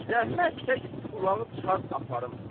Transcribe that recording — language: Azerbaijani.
Zəhmət çək, ulağı çıxart aparım.